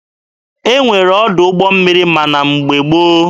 E nwere ọdụ ụgbọ mmiri ma na mgbe gboo.